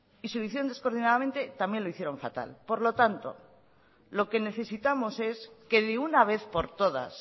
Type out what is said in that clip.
y si lo hicieron descoordinadamente también lo hicieron fatal por lo tanto lo que necesitamos es que de una vez por todas